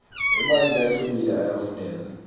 emanti lahlobile ayafuneka